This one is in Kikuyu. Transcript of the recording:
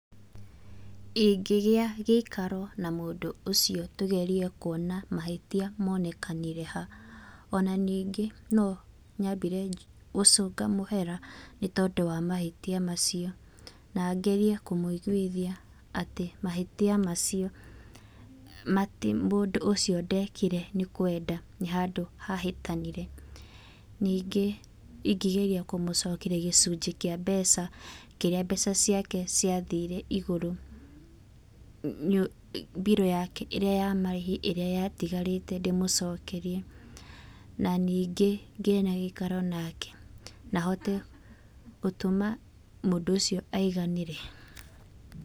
Ingĩgĩa gĩikaro na mũndũ ũcio tũgerie kuona mahĩtia monekanire ha. Ona ningĩ no nyambire gũcunga mũhera nĩ tondũ wa mahĩtia macio, na ngerie kũmũigwithia atĩ mahĩtia macio, mati mũndũ ũcio ndekire nĩ kwenda, nĩ handũ hahĩtanire. Ningĩ ingĩgeria kũmũcokeria gĩcunjĩ kĩa mbeca kĩrĩa mbeca ciake ciathire igũrũ, bilu yake ĩrĩa ya marĩhi ĩrĩa yatigarĩte ndĩmũcokerie. Na ningĩ ngĩe na gĩikaro nake na hote gũtũma mũndũ ũcio aiganĩre.